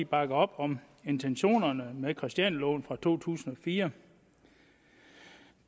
bakker op om intentionerne med christianialoven fra to tusind og fire